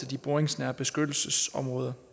de boringsnære beskyttelsesområder